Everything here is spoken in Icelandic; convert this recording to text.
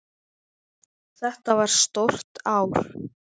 Þetta var stórt ár.